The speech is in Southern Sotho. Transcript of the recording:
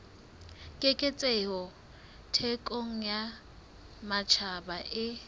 keketseho thekong ya matjhaba e